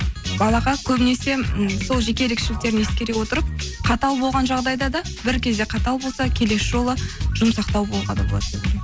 балаға көбінесе м сол жеке ерекшеліктерін ескере отырып қатал болған жағдайда да бір кезде қатал болса келесі жолы жұмсақтау болуға да болады